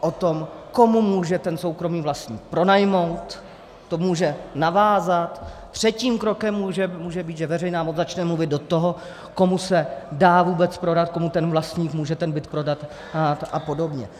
o tom, komu může ten soukromý vlastník pronajmout, to může navázat, třetím krokem může být, že veřejná moc začne mluvit do toho, komu se dá vůbec prodat, komu ten vlastník může ten byt prodat a podobně.